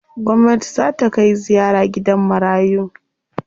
Gwamnati zaa ta kai ziyara gidan marayu.